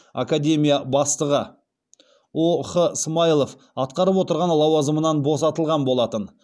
академия бастығы о х смайылов атқарып отырған лауазымынан босатылған болатын